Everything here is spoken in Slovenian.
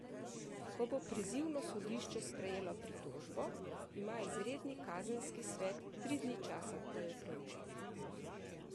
Ko bo prizivno sodišče prejelo pritožbo, ima izredni kazenski svet tri dni časa, da jo preuči.